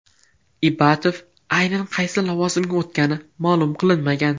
Ibatov aynan qaysi lavozimga o‘tgani ma’lum qilinmagan.